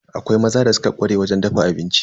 Akwai maza da suka ƙware wajen dafa abinci.